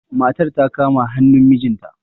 matar ta kama hannun mijinta